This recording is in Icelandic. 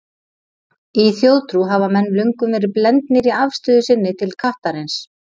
Í þjóðtrú hafa menn löngum verið blendnir í afstöðu sinni til kattarins.